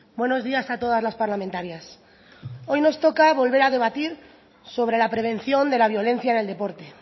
buenos días a todas las parlamentarias hoy nos toca volver a debatir sobre la prevención de la violencia en el deporte